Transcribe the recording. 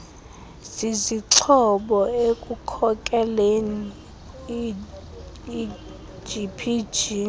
zizixhobo ekukhokeleni igpg